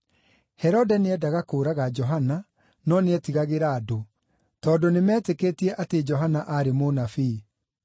Herode nĩendaga kũũraga Johana, no nĩetigagĩra andũ, tondũ nĩmeetĩkĩtie atĩ Johana aarĩ mũnabii.